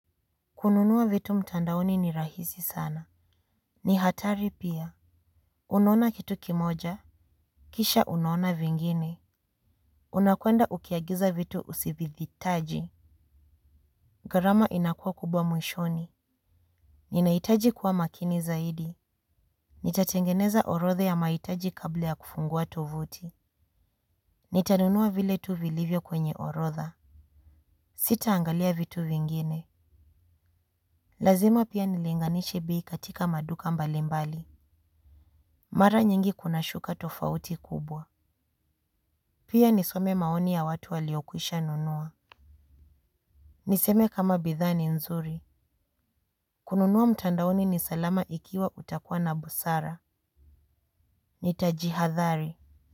Kununua vitu mtandaoni ni rahisi sana. Ni hatari pia. Unaona kitu kimoja. Kisha unuona vingine. Unakwenda ukiagiza vitu usivihitaji. Gharama inakuwa kubwa mwishoni. Ninahitaji kuwa makini zaidi. Nitatengeneza orodha ya mahitaji kabla ya kufungua tovuti. Nitanunua vile tu vilivyo kwenye orodha. Sitaangalia vitu vingine. Lazima pia nilinganishe bei katika maduka mbalimbali. Mara nyingi kuna shuka tofauti kubwa. Pia nisome maoni ya watu waliokwisha nunua. Niseme kama bidhaa ni nzuri. Kununua mtandaoni ni salama ikiwa utakuwa na busara Nitajihadhari.